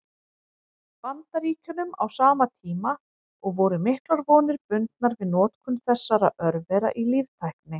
Bandaríkjunum á sama tíma, og voru miklar vonir bundnar við notkun þessara örvera í líftækni.